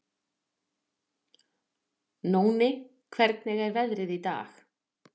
Nóni, hvernig er veðrið í dag?